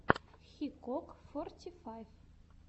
хикок форти файв